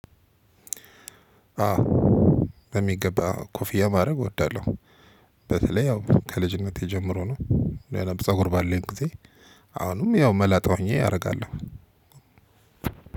አው በሚገባ ኮፊያ ማድረግ እወዳለሁ። በተለይ ያው ከልጅነቴ ጀምሮ ነው። ሌላም ፀጉር ባለኝ ጊዜ። አሁንም ያው መላጣ ሆኜ አደርጋለሁ።